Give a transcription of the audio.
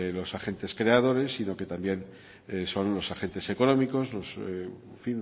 los agentes creadores sino que también son los agentes económicos en